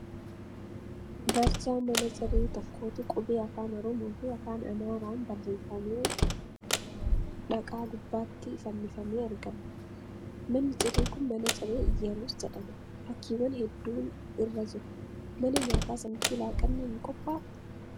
Barjaa mana ciree tokkootu qubee afaan Oromoo fi afaan Amaaraan barreeffamee dhaqaa gubbaatti fannifamee argama. Manni ciree kun mana ciree 'Iyyerus' jedhama. fakkiiwwan hedduun irra jiru. Mana nyaata sanatti laaqanni hin qophaa'uu?